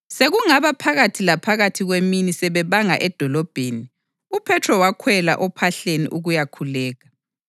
Sekungaba phakathi laphakathi kwemini sebebanga edolobheni, uPhethro wakhwela ophahleni ukuyakhuleka.